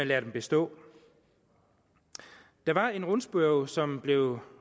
lade dem bestå der var en rundspørge som blev